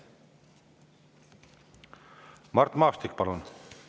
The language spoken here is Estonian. Mart Maastik, palun!